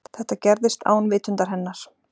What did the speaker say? Þetta gerðist án vitundar hennar.